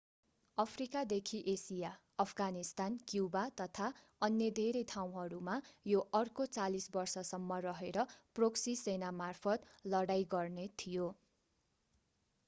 Africa देखि Asia Afghanistan Cuba तथा अन्य धेरै ठाउँहरूमा यो अर्को 40 बर्ष सम्म रहेर प्रोक्सी सेनामार्फत लडाईं गर्ने थियो